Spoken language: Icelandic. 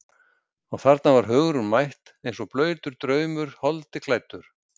Og þarna var Hugrún mætt eins og blautur draumur holdi klæddur.